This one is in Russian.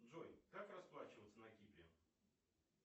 джой как расплачиваться на кипре